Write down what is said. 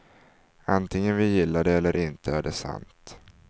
Antingen vi gillar det eller inte är det sant.